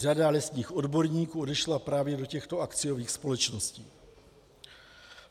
Řada lesních odborníků odešla právě do těchto akciových společností.